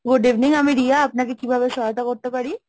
Good evening আমি রিয়া, আপনাকে কিভাবে সহায়তা করতে পারি?